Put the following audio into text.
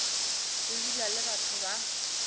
go dula le batho ba